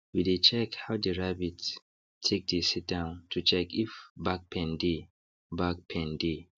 we dey check how the rabbit take dey sit down to check if back pain dey back pain dey